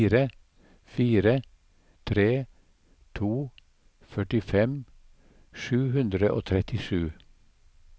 fire fire tre to førtifem sju hundre og trettisju